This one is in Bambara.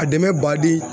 A dɛmɛ badi